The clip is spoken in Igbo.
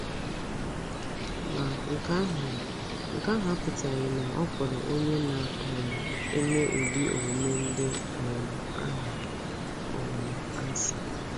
Ma, nke ahụ, nke ahụ apụtaghị na ọ kpọrọ onye na um - eme ụdị omume ndị um ahụ um asị.